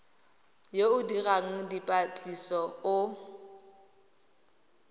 yo o dirang dipatlisiso o